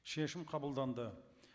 шешім қабылданды